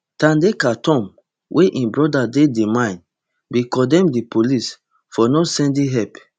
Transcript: thandeka tom wey im brother dey di mine bin condemn di police for not sending help